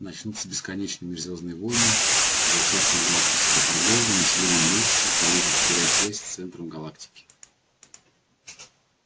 начнутся бесконечные межзвёздные войны зачахнет галактическая торговля население уменьшится планеты потеряют связь с центром галактики